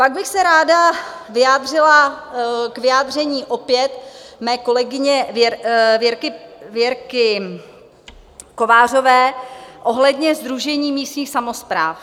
Pak bych se ráda vyjádřila k vyjádření opět mé kolegyně Věrky Kovářové ohledně Sdružení místních samospráv.